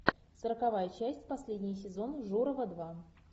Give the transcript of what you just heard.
сороковая часть последний сезон журова два